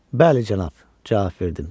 Bəli, cənab, - cavab verdim.